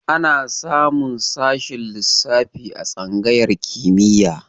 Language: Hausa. Ana samun sashen lissafi a tsangayar kimiyya.